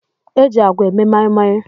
E ji àgwà eme moi moi.